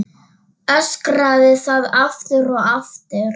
Öskraði það aftur og aftur.